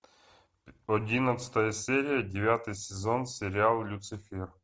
одиннадцатая серия девятый сезон сериал люцифер